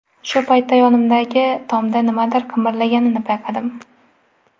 Shu paytda yonimdagi tomda nimadir qimirlaganini payqadim.